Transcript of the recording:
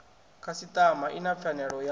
khasiṱama i na pfanelo ya